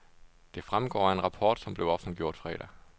Det fremgår af en rapport, som blev offentliggjort fredag.